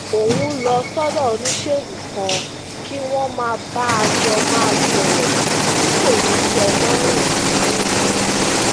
òun ń lọ sódò oníṣègùn kan kí wón má bàa jọ máa sòrò ti ko ni te lorun lorun